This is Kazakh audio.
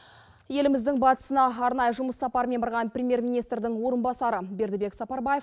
еліміздің батысына арнайы жұмыс сапармен барған премьер министрдің орынбасары бердібек сапарбаев